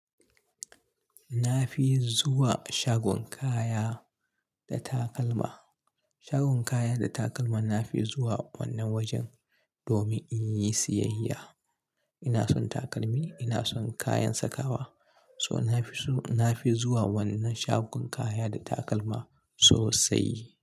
Na fi zuwa shagon kaya da takalma. Shagon kaya da takalma na fi zuwa wannan wajen, domin in yi siyayya. Ina son takalmi, ina son kayan sakawa, so na fi zuwa wannan shagon kaya da takalma sosai.